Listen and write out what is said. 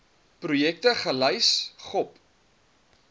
projekte gelys gop